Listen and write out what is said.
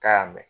K'a y'a mɛn